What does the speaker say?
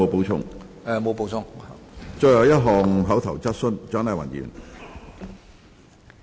最後一項口頭質詢。